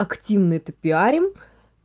активные топиарим